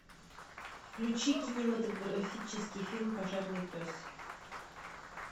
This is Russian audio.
включи кинематографический фильм пожарный пес